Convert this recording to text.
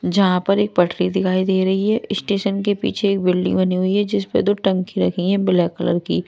यहाँ पर एक पठरी दिखाई दे रही है स्टेशन के पीछे एक बिल्डिंग बनी हुई है जिस पर दो टंकी रखी है ब्लैक कलर की--